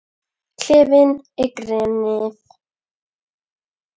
Klefinn er grenið.